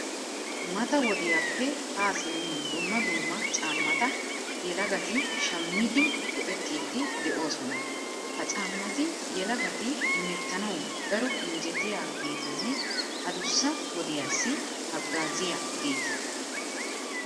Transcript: Mata wodiyappe haa simmin dumma dumma caammata yelagati shammidi go"ettiiddi de'oosona. Ha caammati yelagati hemettanawu daro injjetiyageetanne adussa wodiyassi haggaaziyageeta.